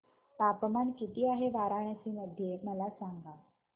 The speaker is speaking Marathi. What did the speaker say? तापमान किती आहे वाराणसी मध्ये मला सांगा